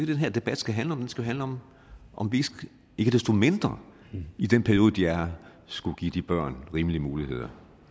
den her debat skal handle om den skal handle om om vi ikke desto mindre i den periode de er her skulle give de børn rimelige muligheder